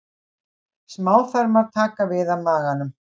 Smáþarmar taka við af maganum.